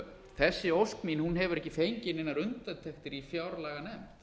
þessi ósk mín hefur ekki fengið neinar undirtektir í fjárlaganefnd